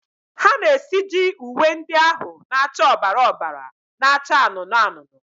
ha na-esiji uwe ndị ahụ na-acha ọbara ọbara na-acha anụnụ anụnụ.